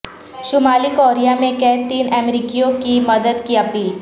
شمالی کوریا میں قید تین امریکیوں کی مدد کی اپیل